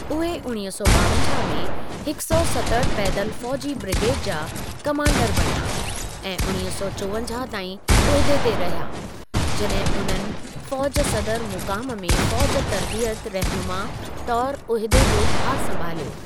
उहे उणिवींह सौ ॿावंजाहु में हिकु सौ सतहठ पैदल फ़ौजि ब्रिगेड जा कमांडर बणिया ऐं उणिवींह सौ चोवंजाहु ताईं उहिदे ते रहिया जड॒हिं उन्हनि फ़ौज सदर मुक़ामु में फ़ौज तर्बीयत रहिनुमा तौरु उहिदे जो भारु संभालियो।